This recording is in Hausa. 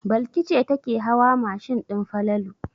Balki ce take hawa mashin din Falalu.